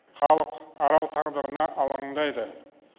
халық арал тағдырына алаңдайды